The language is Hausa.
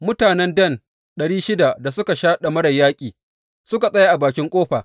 Mutanen Dan ɗari shida da suka sha ɗamarar yaƙi suka tsaya a bakin ƙofa.